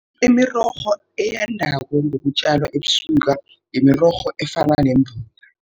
Imirorho eyandako ngokutjalwa ebusika imirorho efana nembuya